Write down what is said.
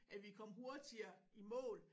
At vi kom hurtigere i mål